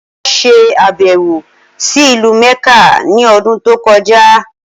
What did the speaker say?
Olá ṣe àbẹ̀wò sí ìlú Mẹ́kà ni ọdún tó kọjá.